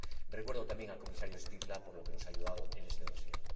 Recuerdo, también, al Comisario Špidla por lo que nos ha ayudado en este dossier